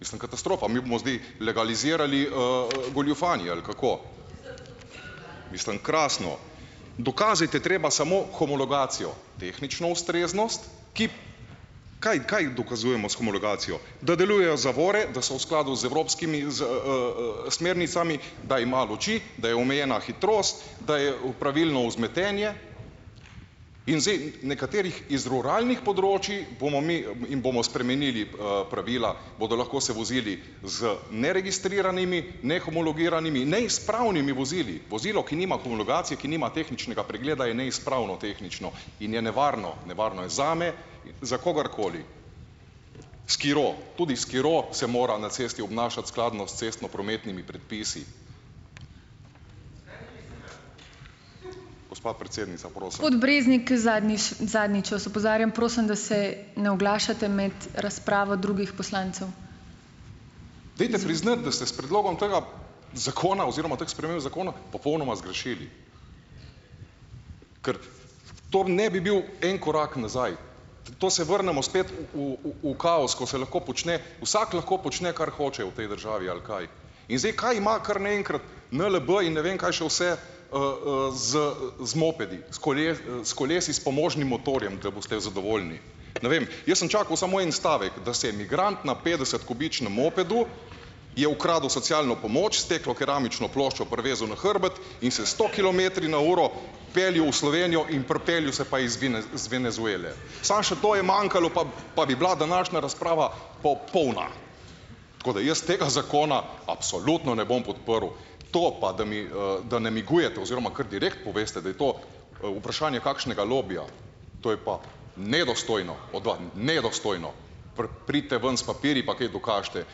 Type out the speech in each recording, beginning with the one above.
Mislim, katastrofa, mi bomo zdaj legalizirali, goljufanje, ali kako? Mislim, krasno. Dokazati je treba samo homologacijo, tehnično ustreznost, ki, kaj, kaj dokazujemo s homologacijo, da delujejo zavore, da so v skladu z evropskimi smernicami, da ima luči, da je omejena hitrost, da je, pravilno vzmetenje in zdaj, nekaterih iz ruralnih področij, bomo mi in bomo spremenili, pravila, bodo lahko se vozili z neregistriranimi, nehomologiranimi, neizpravnimi vozili. Vozilo, ki nima homologacije, ki nima tehničnega pregleda, je neizpravno tehnično in je nevarno. Nevarno je zame, za kogarkoli. Skiro, tudi skiro se mora na cesti obnašati skladno s cestnoprometnimi predpisi. Gospa predsednica, Dajte priznati, da ste s predlogom tega zakona oziroma teh sprememb zakona popolnoma zgrešili, ker to ne bi bil en korak nazaj. To se vrnemo spet v v v kaos, ko se lahko počne, vsak lahko počne, kar hoče v tej državi, ali kaj? In zdaj, kaj ima kar na enkrat NLB in ne vem kaj še vse, z z mopedi, s s kolesi s pomožnim motorjem, da boste zadovoljni? Ne vem, jaz sem čakal samo en stavek, da se je migrant na petdesetkubičnem mopedu, je ukradel socialno pomoč, steklokeramično ploščo privezal na hrbet, peljal v Slovenijo in pripeljal se pa iz Venezuele. Samo še to je manjkalo pa bi bila današnja razprava popolna. Tako da jaz tega zakona absolutno ne bom podprl. To pa, da mi, da namigujete oziroma kar direkt poveste, da je to, vprašanje kakšnega lobija, to je pa nedostojno od nedostojno. pridite ven s papirji pa kaj dokažite,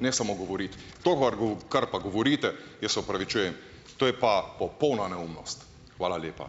ne samo govoriti. Kar pa govorite, jaz se opravičujem, to je pa popolna neumnost. Hvala lepa.